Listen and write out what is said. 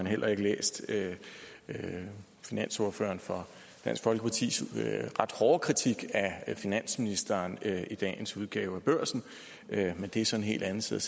heller ikke læst finansordføreren for dansk folkepartis ret hårde kritik af finansministeren i dagens udgave af børsen men det er så en hel anden side